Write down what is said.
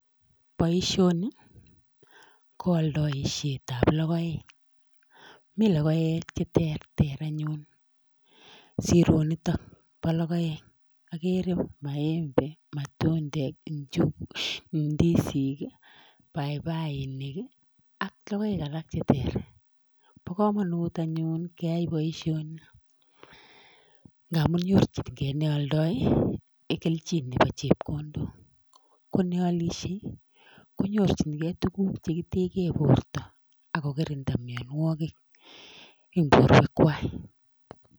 Boisioni ko oldoishetab logoek, mi logoek che terter anyun. Sironito bo logoek agere: maembe , matundek, indisik, paipai ak logoek alak che ter bo komonut anyun keyai boisioni ngamun nyorjin ge ne oldo kelchin nebo chepkondok. Ko ne alishe konyorjinge tuguk che kitegen borto ak kokirinda minawogik en borwekwak.